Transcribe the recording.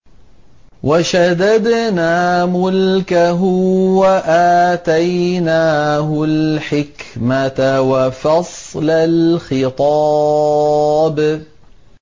وَشَدَدْنَا مُلْكَهُ وَآتَيْنَاهُ الْحِكْمَةَ وَفَصْلَ الْخِطَابِ